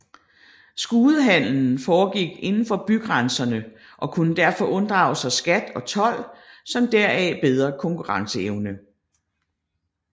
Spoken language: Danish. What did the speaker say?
Skudehandelen foregik udenfor bygrænserne og kunne derfor unddrage sig skat og told med deraf bedre konkurrenceevne